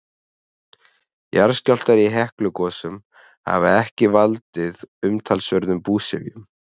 jarðskjálftar í heklugosum hafa ekki valdið umtalsverðum búsifjum